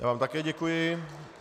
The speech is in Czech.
Já vám také děkuji.